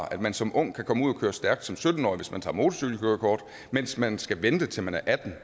at man som ung kan komme ud at køre stærkt som sytten årig hvis man tager motorcykelkørekort mens man skal vente til man er atten